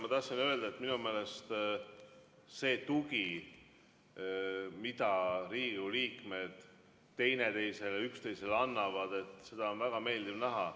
Ma tahtsin öelda, et minu meelest seda tuge, mida Riigikogu liikmed üksteisele annavad, on väga meeldiv näha.